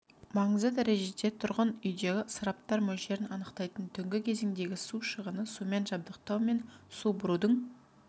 маңызды дәрежеде тұрғын үйдегі ысыраптар мөлшерін анықтайтын түнгі кезеңдегі су шығыны сумен жабдықтау мен су бұрудың